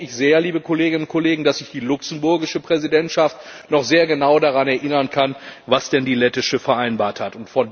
Jetzt hoffe ich sehr, liebe Kolleginnen und Kollegen, dass sich die luxemburgische Präsidentschaft noch sehr genau daran erinnern kann, was denn die lettische vereinbart hat.